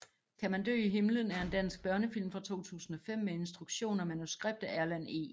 Kan man dø i himlen er en dansk børnefilm fra 2005 med instruktion og manuskript af Erlend E